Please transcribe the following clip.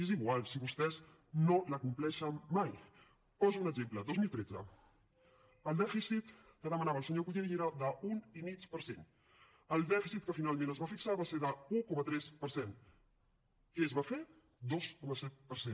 és igual si vostès no l’acompleixen mai en poso un exemple dos mil tretze el dèficit que demanava el senyor colell era d’un i mig per cent el dèficit que finalment es va fixar va ser d’un coma tres per cent què es va fer dos coma set per cent